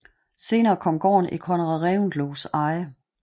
Senere kom gården i Conrad Reventlows eje